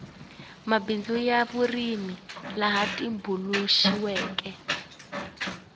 mabindzu ya vurimi laya tumbuluxiweke